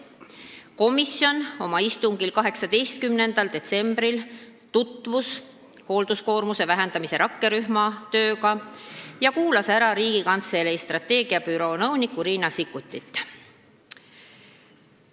Komisjon oma istungil 18. detsembril tutvus hoolduskoormuse vähendamise rakkerühma tööga ja kuulas ära Riigikantselei strateegiabüroo nõuniku Riina Sikkuti.